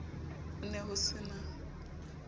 ho ne ho se na